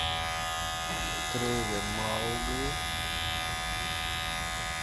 трейлер маугли